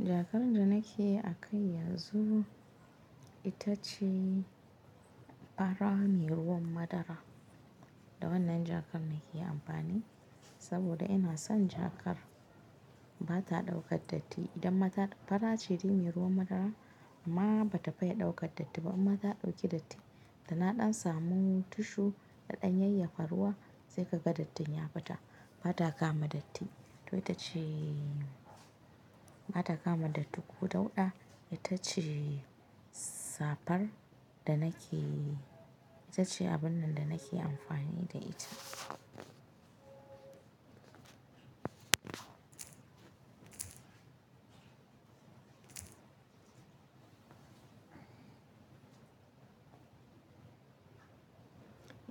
Jakar da nake a kai yanzu, ita ce ɓara ne ruwan madara. Da wannan jakar nake amfani, saboda ina son jakar ba ta ɗaukar datti. Idan ma ta, ɓara ce ne ruwan madara amma ba ta fiya ɗaukar datti ba. Amma ta ɗauki datti, da na ɗan samu tushu, daɗa yayyafa ruwa sai ka ga dattin ya fita. Ba ta kama datti, to ita ce ba ta kama datti ko dauɗa, ita ce safar da nake, ita ce abun da nake amfani da ita.